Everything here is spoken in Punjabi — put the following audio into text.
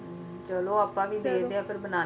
ਚਲੋ ਆਪਾਂ ਵੀ ਦੇਖਦੇ ਆ ਫੇਰ ਬਣਾਉਣੇ ਆ plain